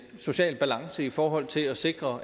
social balance i forhold til at sikre